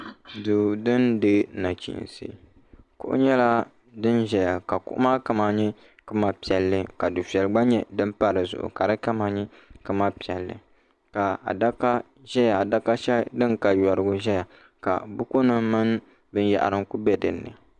duu din dihi nachiinsi kuɣu nyɛla din ʒɛya ka kuɣu maa kama nyɛ kama piɛlli ka dufɛli gba nyɛ din pa dizuɣu ka di kama nyɛ kama piɛlli ka adaka shɛli din ka yorigu ʒɛya ka buku nim mini binyahari n ku bɛ dinni